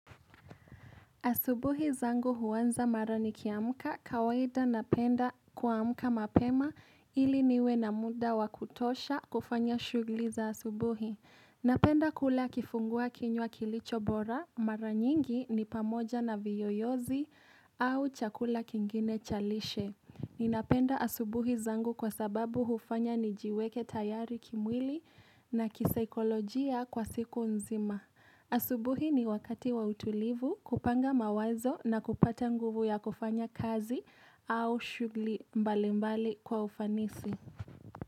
Asubuhi zangu huanza mara nikiamka, kawaida napenda kuamka mapema ili niwe na muda wa kutosha kufanya shughuli za asubuhi. Napenda kula kifungua kinywa kilicho bora, maranyingi ni pamoja na viyoyozi au chakula kingine cha lishe. Ninapenda asubuhi zangu kwa sababu hufanya nijiweke tayari kimwili na kisaikolojia kwa siku nzima. Asubuhi ni wakati wa utulivu kupanga mawazo na kupata nguvu ya kufanya kazi au shughuli mbalimbali kwa ufanisi.